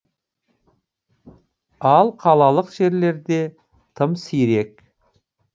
ал қалалық жерлерде тым сирек